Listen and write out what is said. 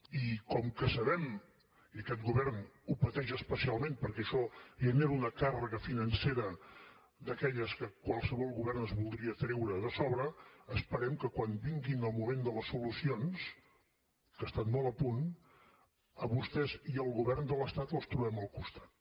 i com que ho sabem i aquest govern ho pateix especialment perquè això genera una càrrega financera d’aquelles que qualsevol govern es voldria treure de sobre esperem que quan vingui el moment de les solucions que està molt a punt a vostès i al govern de l’estat els trobem al costat